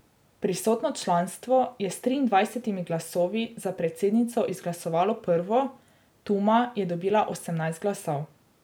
Prisotno članstvo je s triindvajsetimi glasovi za predsednico izglasovalo prvo, Tuma je dobila osemnajst glasov.